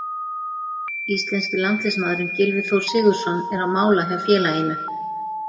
Íslenski landsliðsmaðurinn Gylfi Þór Sigurðsson er á mála hjá félaginu.